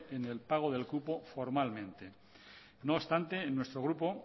en el pago del cupo formalmente no obstante nuestro grupo